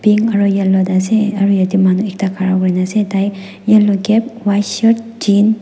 aru yellow tae ase aru ete manu ekta khara kurina ase tai yellow cap white shirt jean.